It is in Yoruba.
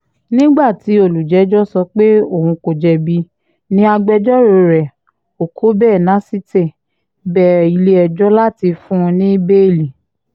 nígbà tí olùjẹ́jọ́ sọ pé òun kò jẹ̀bi ní agbẹjọ́rò rẹ̀ okọ̀bè násitè bẹ ilé-ẹjọ́ láti fún un ní bẹ́ẹ̀lì